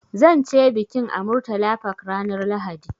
Zan ce bikin a Murtala Park ranar Lahadi.